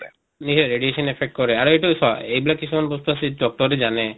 radiation affect কৰে আৰু এইটো চোৱা এইবিলাক কিছুমান বস্তু আছে যিটো doctor য়ে জানে